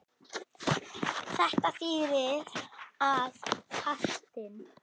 Þetta þýðir að fastinn